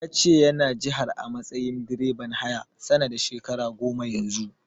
Ya ce yana jihar a matsayin direban haya, sana da shekara goma Yanzu.